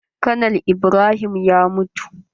Konal Ibrahim ya mutu.